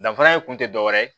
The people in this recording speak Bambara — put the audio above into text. Danfara ye kun tɛ dɔwɛrɛ ye